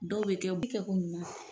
Dɔw be kɛ bi kɛ ko muuf